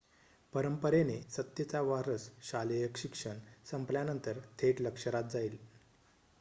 परंपरेने सत्तेचा वारस शालेय शिक्षण संपल्यानंतर थेट लष्करात जाईल